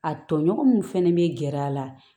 A tɔɲɔgɔn min fɛnɛ bɛ gɛrɛ a la